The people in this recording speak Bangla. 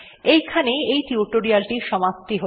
এইখানেই এই টির সমাপ্তি হল